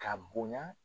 Ka bonya